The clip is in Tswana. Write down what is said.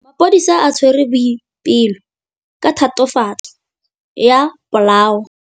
Maphodisa a tshwere Boipelo ka tatofatsô ya polaô.